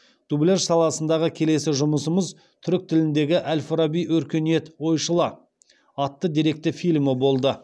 дубляж саласындағы келесі жұмысымыз түрік тіліндегі әл фараби өркениет ойшылы атты деректі фильмі болды